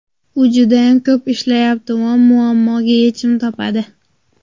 U judayam ko‘p ishlayapti va muammoga yechim topadi.